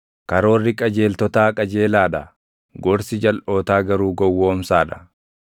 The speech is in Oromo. Karoorri qajeeltotaa qajeelaa dha; gorsi jalʼootaa garuu gowwoomsaa dha.